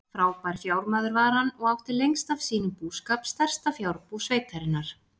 Frábær fjármaður var hann og átti lengst af sínum búskap stærsta fjárbú sveitarinnar.